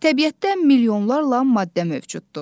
Təbiətdə milyonlarla maddə mövcuddur.